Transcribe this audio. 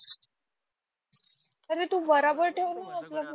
अरे तु बराबर ठेव ना आपला फोन